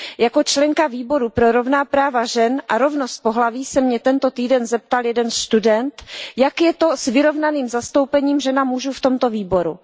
Jako členky Výboru pro práva žen a rovnost pohlaví se mě tento týden zeptal jeden student, jak je to s vyrovnaným zastoupením žen a mužů v tomto výboru.